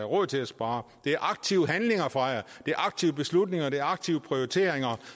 råd til at spare det er aktive handlinger fra jer det er aktive beslutninger det er aktive prioriteringer